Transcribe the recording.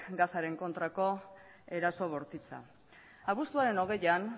gazaren kontrako eraso bortitza abuztuaren hogeian